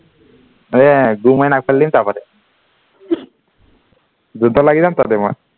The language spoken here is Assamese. এৰ গুৰ মাৰি নাক ফালি তাৰ উপৰতে ধুপ ধাপ লাগি যাম তাতে মই